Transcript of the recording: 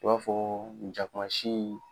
E b'a fɔ jakuma sii